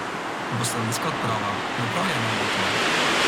Bo slovenska odprava pripravljena na to?